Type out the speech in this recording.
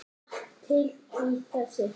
Margt til í þessu.